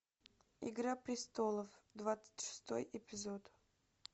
игра престолов двадцать шестой эпизод